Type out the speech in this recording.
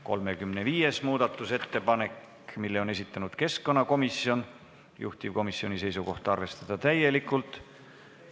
35. muudatusettepaneku on esitanud keskkonnakomisjon, juhtivkomisjoni seisukoht: arvestada seda täielikult.